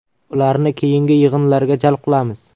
Ularni keyingi yig‘inlarga jalb qilamiz.